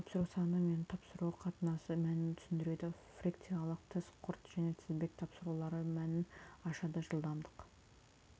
тапсыру саны мен тапсыру қатынасы мәнін түсіндіреді фрикциялық тіс құрт және тізбек тапсырулары мәнін ашады жылдамдық